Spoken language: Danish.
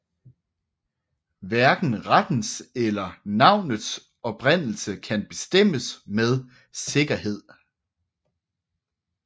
Hverken rettens eller navnets oprindelse kan bestemmes med sikkerhed